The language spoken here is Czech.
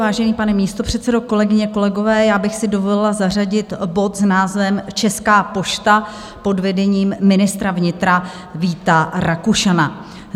Vážený, pane místopředsedo, kolegyně, kolegové, já bych si dovolila zařadit bod s názvem Česká pošta pod vedením ministra vnitra Víta Rakušana.